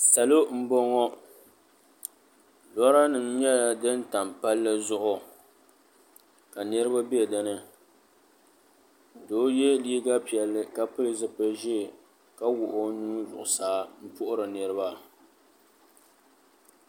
Salo m-bɔŋɔ loranima nyɛla din tam palli zuɣu ka niriba be dini doo ye liiga piɛlli ka pili zipili ʒee ka wuɣi o nuu zuɣusaa m-puhiri niriba.